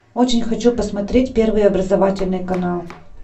очень хочу посмотреть первый образовательный канал